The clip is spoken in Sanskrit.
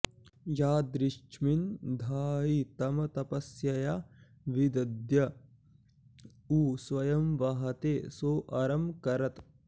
यादृश्मिन्धायि तमपस्यया विदद्य उ स्वयं वहते सो अरं करत्